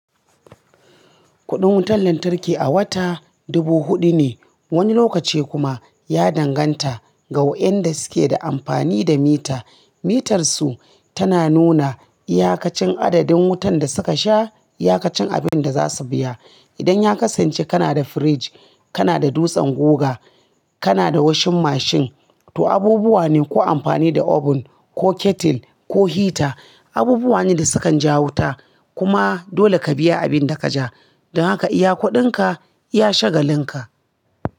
Kuɗin wutan lantarki a wata dubu huɗu ne, wani lokaci kuma ya danganta ga waɗanda suke amfani da mita. Mitarsu tana nuna iyakacin adadin wutan da suka sha, iyakacin abin da za su biya. Idan ya kasance kana da firij, kana da dutsen guga, kana da washing mashin, to abubuwa ne ko amfani da oven, ko kettle, ko hita, abubuwa ne da sukan ja wuta. Kuma dole ka biya abin da ka ja, don haka iya kuɗinka ya shagalinka.